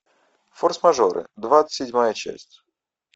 форс мажоры двадцать седьмая часть